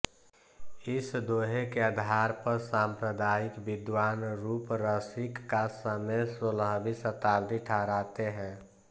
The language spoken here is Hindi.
इस दोहे के आधार पर साम्प्रदायिक विद्वान रूपरसिक का समय सोलहवीं शताब्दी ठहराते हैं